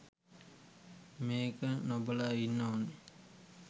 මේක නොබලා ඉන්න ඕන.